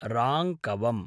राङ्कवम्